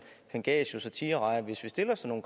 pangasius og tigerrejer hvis vi stiller sådan